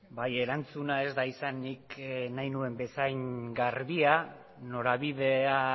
bai erantzuna ez da izan nik nahi nuen bezain garbia norabidea